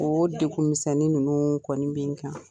O degu misɛnnin ninnu kɔni bɛ n kan